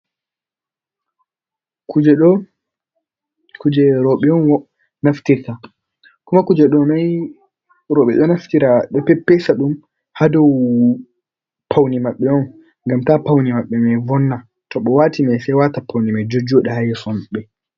Kuje ɗo, kuje rooɓe on naftirta. kuma kuje ɗo mai roɓe ɗo naftira, ɗo peppesa ɗum haa dow paune maɓɓe on, ngam ta paune maɓɓe mai vonna to ɓe waati mai sai waata paune mai jojjoɗa haa yeso maɓɓe.